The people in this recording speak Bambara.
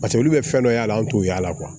Paseke olu bɛ fɛn dɔ y'a la an t'o y'a la